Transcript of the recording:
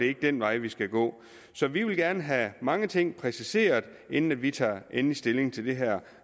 ikke den vej vi skal gå så vi vil gerne have mange ting præciseret inden vi tager endelig stilling til det her